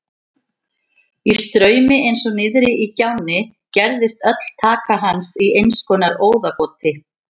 Í straumi eins og niðri í gjánni gerðist öll taka hans í einskonar óðagoti.